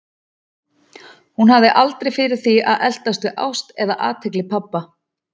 Hún hafði aldrei fyrir því að eltast við ást eða athygli pabba.